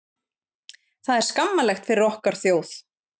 Þetta er skammarlegt fyrir okkar þjóð.